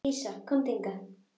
Dísa, komdu hingað!